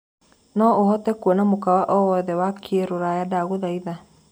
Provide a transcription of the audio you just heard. no hote kũona mũkawa o wothe wa kiruraya ndagũthaĩtha